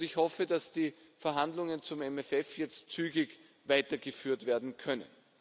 Ich hoffe, dass die Verhandlungen zum MFR jetzt zügig weitergeführt werden können.